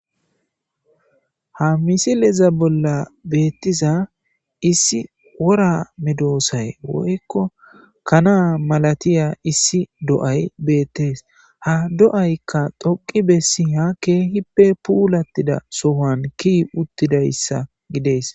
Ha misileza bolla beettiza issi wora medoosay woykko kana mlaatiya issi do7ay beettes. Ha do7aykka dhoqq bessiya keehippe puulattida sohani kiyi uttidayssa gidees.